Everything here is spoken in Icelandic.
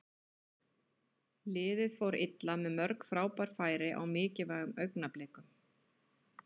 Liðið fór illa með mörg frábær færi á mikilvægum augnablikum.